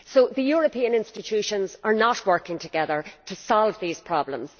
So the European institutions are not working together to solve these problems.